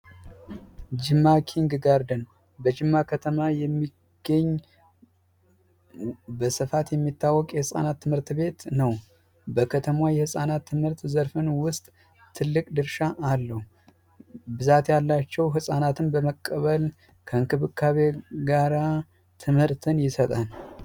ጅማ ኪንግ ጋርደን በጅማ ከተማ የሚገኝ በስፋት የሚታወቅ የህጻናት ትምህርት ቤት ነው ።በከተማዋ የህፃናት ትምህርት ዘርፍን ውስጥ ትልቅ ደርሻ አለው። ብዛት ያላቸው ህፃናትን በመቀበል ከክብካቤ ጋራ ትምህርትን ይሰጣል።